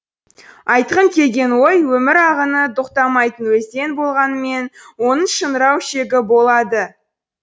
айтқым келген ой өмір ағыны тоқтамайтын өзен болғанымен оның шыңырау шегі болады